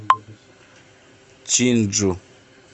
чинджу